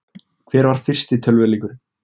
hver var fyrsti tölvuleikurinn